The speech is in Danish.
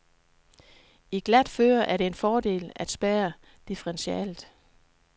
I glat føre er det en fordel at spærre differentialet.